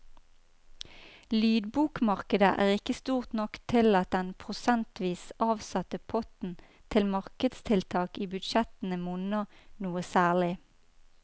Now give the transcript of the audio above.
Lydbokmarkedet er ikke stort nok til at den prosentvis avsatte potten til markedstiltak i budsjettene monner noe særlig.